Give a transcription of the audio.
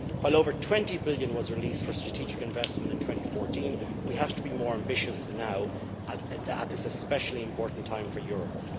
While over EUR 20 billion was released for strategic investment in 2014, we have to be more ambitious now at this especially important time for Europe.